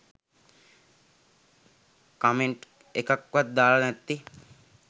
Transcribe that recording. Comment එකක්වත් දාලා නැත්තේ.